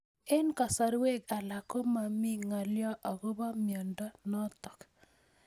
Eng'kasarwek alak ko mami ng'alyo akopo miondo notok